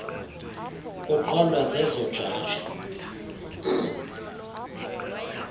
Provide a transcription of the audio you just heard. kuqondwa zezo jaji